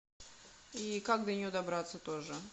и как до нее добраться тоже